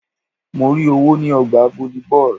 Mo rí owó ní ọgbà volleyball.